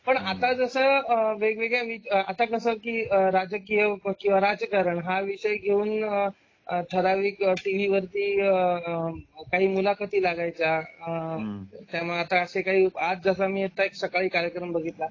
पण आता जस वेगवेगळ्या आता कसं की राजकीय पक्ष राजकारण हा विषय घेऊन ठरावीक टीव्ही वरती काही मुलाखती लागायच्या आह त्यामुळे आता असे काही आज जसा मी येथे सकाळी कार्यक्रम बघितला.